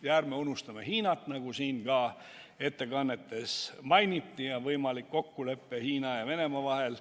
Ning ärme unustame Hiinat: nagu siin ka ettekannetes mainiti, on võimalik kokkulepe Hiina ja Venemaa vahel.